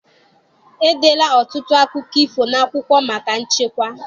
E deela ọtụtụ akụkọ ifo n'akwụkwọ maka nchekwa.